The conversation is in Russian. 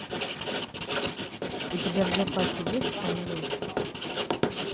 у тебя в запасе есть камелот